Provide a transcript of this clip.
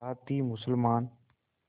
साथ ही मुसलमान